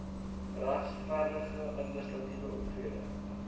regverdige administratiewe optrede